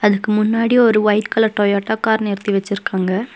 அதுக்கு முன்னாடி ஒரு ஒய்ட் கலர் டொயோட்டா கார் நிறுத்தி வச்சுருக்காங்க.